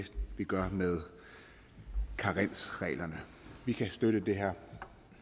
vi gør med karensreglerne vi kan støtte det her